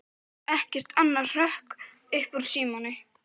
Það er ekkert annað hrökk upp úr Símoni.